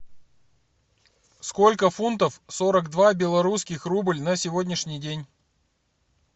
сколько фунтов сорок два белорусских рубль на сегодняшний день